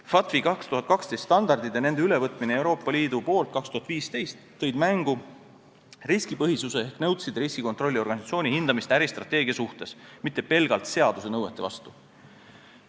FATF-i 2012. aasta standardid ja nende ülevõtmine Euroopa Liidu poolt aastal 2015 tõid mängu riskipõhisuse ehk nõudsid riskikontrolli organisatsiooni hindamist äristrateegia suhtes, mitte pelgalt seaduse nõuete mõttes.